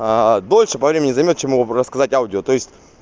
дольше по времени займёт чем мог бы рассказать аудио то есть